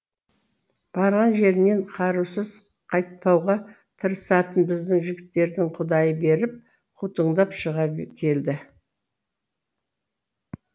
барған жерінен құрауыз қайтпауға тырысатын біздің жігіттердің құдайы беріп қутыңдап шыға келді